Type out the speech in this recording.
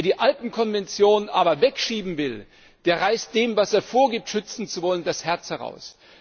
Wer die Alpenkonvention aber wegschieben will, der reißt dem, was er vorgibt, schützen zu wollen, das Herz heraus.